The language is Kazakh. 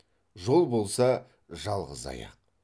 жол болса жалғыз аяқ